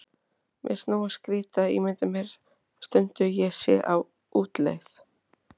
Mér finnst nógu skrýtið að ímynda mér stundum ég sé á útleið.